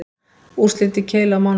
Úrslit í keilu á mánudaginn